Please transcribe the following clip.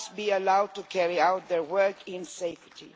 They must be allowed to carry out their work in safety.